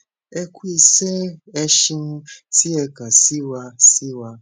ẹ ku isẹ ẹ seun ti ẹ kan si wa si wa